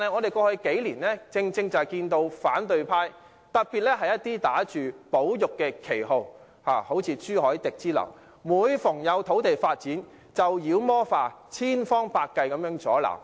然而，過去數年有反對派打着保育旗號，像朱凱廸議員之流，將所有土地發展"妖魔化"，千方百計加以阻撓。